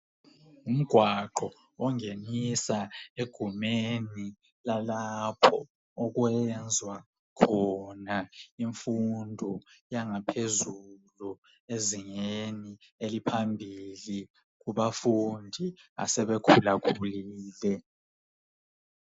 Umgwaqo ongenisa egumeni lalapho okwenziwa khona imfundo yangaphezulu ezingeni eliphambili kubafundi asebakhulakhulile